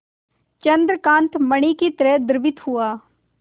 चंद्रकांत मणि ही तरह द्रवित हुआ